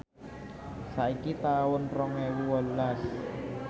saiki taun rong ewu wolulas